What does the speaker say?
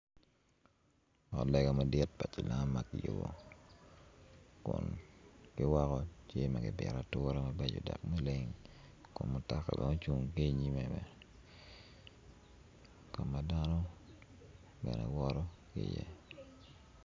Ot lega madit pi cilam ma kiyubo ki kun ki woko tye ma kipito ature mabeco dok maleng kun mutoka bene ocung ki i nyime bene ka dano bene woto ki iye.